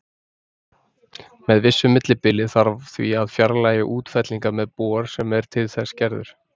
Með vissu millibili þarf því að fjarlægja útfellingar með bor sem er til þess gerður.